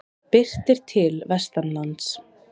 Birtir til vestanlands